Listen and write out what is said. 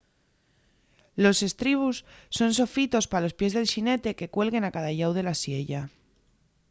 los estribos son sofitos pa los pies del xinete que cuelguen a cada llau de la siella